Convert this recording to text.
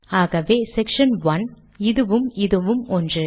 ஆகவே செக்ஷன் 1 இதுவும் இதுவும் ஒன்று